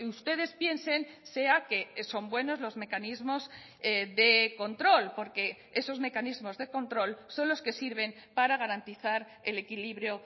ustedes piensen sea que son buenos los mecanismos de control porque esos mecanismos de control son los que sirven para garantizar el equilibrio